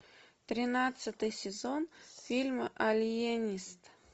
тринадцатый сезон фильма алиенист